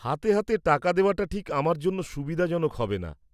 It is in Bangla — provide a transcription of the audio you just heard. -হাতে হাতে টাকা দেওয়াটা ঠিক আমার জন্য সুবিধাজনক হবেনা।